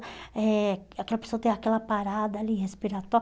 eh Aquela pessoa tem aquela parada ali